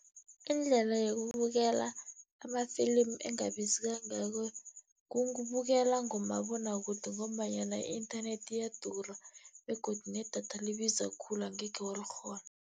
Indlela yokubukela ama-film engabizi kangako kubukela ngomabonwakude, ngombanyana i-internet iyadura begodu nedatha libiza khulu angekhe walikghona.